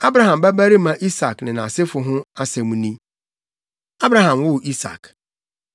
Abraham babarima Isak ne nʼasefo ho asɛm ni. Abraham woo Isak.